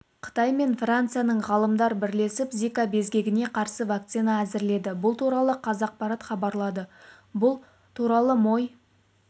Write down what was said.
қытай мен францияның ғалымдар бірлесіп зика безгегіне қарсы вакцина әзірледі бұл туралы қазақпарат хабарлады бұл туралымой